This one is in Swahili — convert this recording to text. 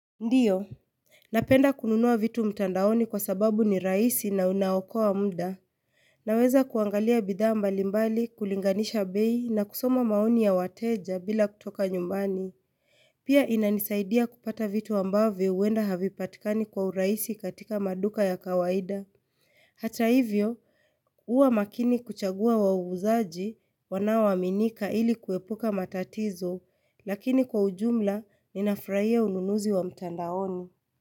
Ndiyo, napenda kununua vitu mtandaoni kwa sababu ni rahisi na unaokowa muda. Naweza kuangalia bidhaa mbalimbali kulinganisha bei na kusoma maoni ya wateja bila kutoka nyumbani. Pia inanisaidia kupata vitu ambayo huenda havipatikani kwa urahisi katika maduka ya kawaida. Hata hivyo, huwa makini kuchagua wauzaji wanaoaminika ili kuepuka matatizo, lakini kwa ujumla ninafuraia ununuzi wa mtandaoni.